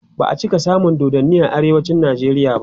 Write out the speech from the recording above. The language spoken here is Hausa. ba'a cika samun dodanni a arewacin nijeriya ba